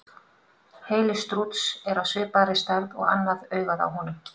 Heili strúts er af svipaði stærð og annað augað á honum.